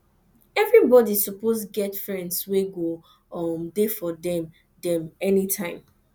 everybodi suppose get friends wey go um dey for dem dem anytime